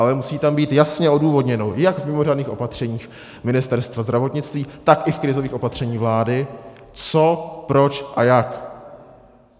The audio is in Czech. Ale musí tam být jasně odůvodněno jak v mimořádných opatřeních Ministerstvo zdravotnictví, tak i v krizových opatřeních vlády, co, proč a jak.